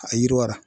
A yiriwara